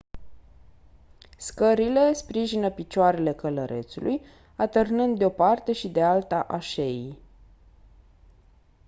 scările sprijină picioarele călărețului atârnând de-o parte și de alta a șeii